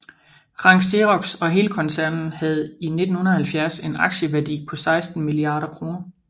Rank Xerox og hele koncernen havde i 1970 en aktieværdi på 16 milliarder kroner